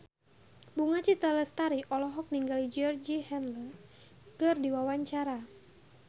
Bunga Citra Lestari olohok ningali Georgie Henley keur diwawancara